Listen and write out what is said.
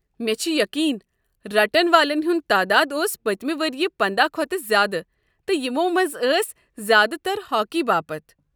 مےٚ چھُ یقیٖن رٹن والین والین ہٗنٛد تعداد اوس پٔتمہِ ؤری پندَہ کھوتہٕ زیادٕ تہٕ یمو منٛز ٲسۍ زیادٕ تر ہاکی باپت۔